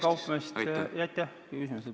Aitäh küsimuse eest!